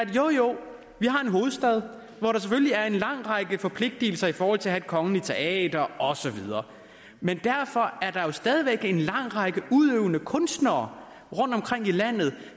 jo jo vi har en hovedstad hvor der selvfølgelig er en lang række forpligtelser i forhold til at have et kongeligt teater og så videre men derfor er der jo stadig væk en lang række udøvende kunstnere rundt omkring i landet